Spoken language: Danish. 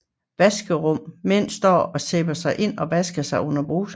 Vaskerum mænd står og sæber sig ind og vasker sig under bruserne